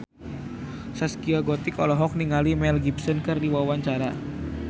Zaskia Gotik olohok ningali Mel Gibson keur diwawancara